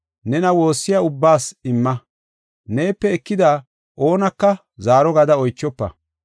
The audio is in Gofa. Nena woossiya ubbaas imma; neepe ekida oonaka zaaro gada oychofa.